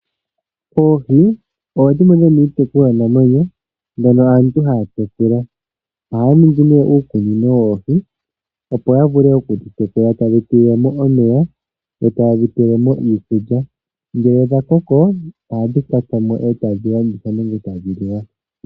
Oohi odho dhimwe dhomiitekulwa namwenyo mbyono mbyono haya tekula . Ohaya ningi nee uukunino woohi opo yavule okudhi tekula ,taya tulamo omeya eta yedhi pelemo iikulya . Ngele dha koko ohadhi kwatwamo etadhi landithwa nenge tadhi liwa.